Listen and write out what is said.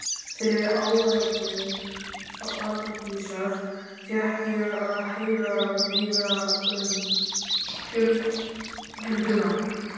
Fyrir áeggjan Arndísar fékk ég að heyra meira um fjölskylduna.